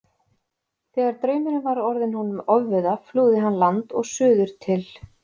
Þegar draumurinn var orðinn honum ofviða flúði hann land og suður til